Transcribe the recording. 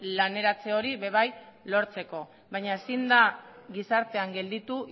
laneratze hori ere bai lortzeko baina ezin da gizartean gelditu